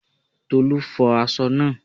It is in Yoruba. Tolu fo aṣọ naa